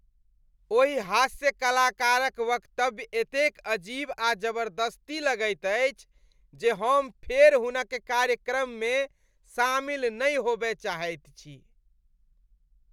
ओहि हास्यकलाकारक वक्तव्य एतेक अजीब आ जबरदस्ती लगैत अछि जे हम फेर हुनक कार्यक्रममे शामिल नहि होबय चाहैत छी।